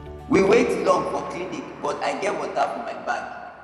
we wait long for clinic but i get water for my bag